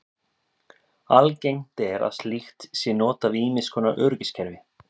Algengt er að slíkt sé notað við ýmiss konar öryggiskerfi.